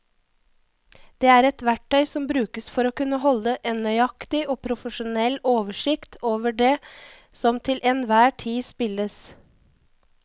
Det er et verktøy som brukes for å kunne holde en nøyaktig og profesjonell oversikt over det som til enhver tid spilles.